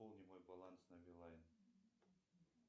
пополни мой баланс на билайн